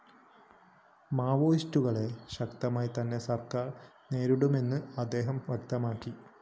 മാവോയിസ്റ്റുകളെ ശക്തമായി തന്നെ സര്‍ക്കാര്‍ നേരിടുമെന്നും അദ്ദേഹം വ്യക്തമാക്കി